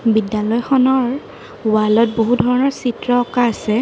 বিদ্যালয়খনৰ ৱাল ত বহু ধৰণৰ চিত্ৰ অঁকা আছে।